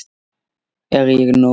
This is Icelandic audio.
Er ég nóg!